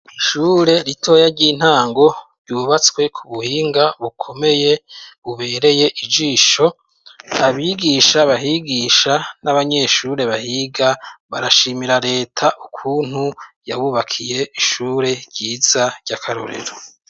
Ishure ritoya ry'intango ryubatswe ku buhinga bukomeye bubereye ijisho, abigisha bahigisha n'abanyeshure bahiga barashimira reta ukuntu yabubakiye ishure ryiza ry'akarorero.